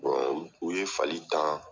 u ye fali tan